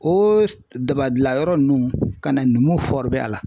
O daba gilan yɔrɔ nunnu ka na numu a la.